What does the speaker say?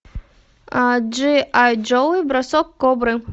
джи ай джо бросок кобры